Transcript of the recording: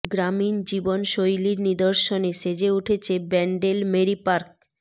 গ্রামীণ জীবন শৈলীর নিদর্শনে সেজে উঠেছে ব্যান্ডেল মেরি পার্ক